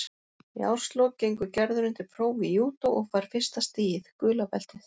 Í árslok gengur Gerður undir próf í júdó og fær fyrsta stigið, gula beltið.